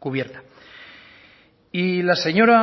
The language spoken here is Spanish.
cubierta y la señora